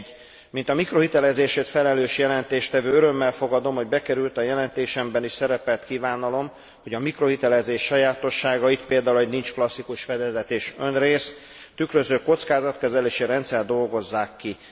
1. Mint a mikrohitelezésért felelős jelentéstevő örömmel fogadom, hogy bekerült a jelentésemben is szerepelt kívánalom, hogy a mikrohitelezés sajátosságait például hogy nincs klasszikus fedezet és önrész tükröző kockázatkezelési rendszert dolgozzák ki.